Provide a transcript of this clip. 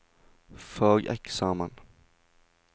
fageksamen